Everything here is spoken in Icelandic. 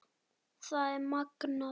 Það er magnað.